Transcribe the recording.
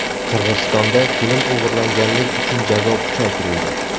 Qirg‘izistonda kelin o‘g‘irlaganlik uchun jazo kuchaytirildi.